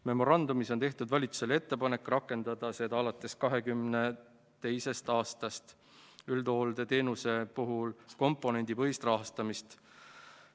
Memorandumis on tehtud valitsusele ettepanek rakendada alates 2022. aastast üldhooldusteenuse puhul komponendipõhist rahastamist.